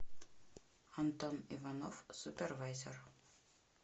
антон иванов супервайзер